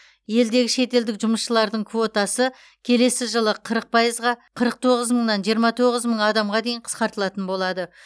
елдегі шетелдік жұмысшылардың квотасы келесі жылы қырық пайызға қырық тоғыз мыңнан жиырма тоғыз мың адамға дейін қысқартылатын болады